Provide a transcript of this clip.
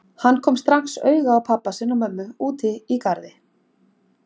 Hann kom strax auga á pabba sinn og mömmu úti í garði.